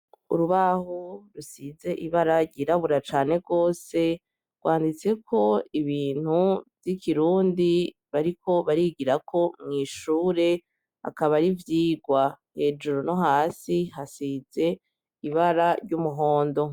Urubaho rusize ibara girabura cane kose rwanditse ko ibintu by'ikirundi bariko barigira ko mwishure akaba arivyigwa hejuru no hasi hasitse ibara ry'umuhondo.